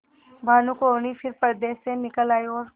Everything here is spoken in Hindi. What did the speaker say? भानुकुँवरि फिर पर्दे से निकल आयी और